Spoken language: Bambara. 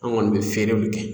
An kɔni bɛ feerew le kɛ .